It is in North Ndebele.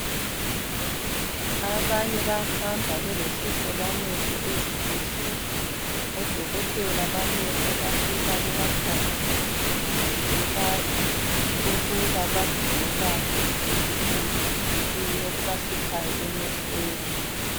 Abanye bayahamba belohlupho lwamehlo ezibhedlela odokotela bamehlo bafika bebakhangele ukuba yikuyini okubahlupha emehlweni.